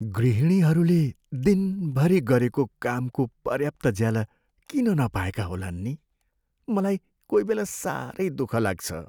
गृहिणीहरूले दिनभरि गरेको कामको पर्याप्त ज्याला किन नपाएका होलान् नि? मलाई कोहीबेला साह्रै दुःख लाग्छ।